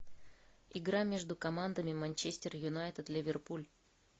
игра между командами манчестер юнайтед ливерпуль